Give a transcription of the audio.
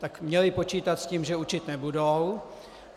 Tak měli počítat s tím, že učit nebudou.